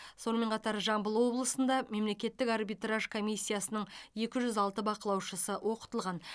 сонымен қатар жамбыл облысында мемлекеттік арбитраж комиссиясының екі жүз алты бақылаушысы оқытылған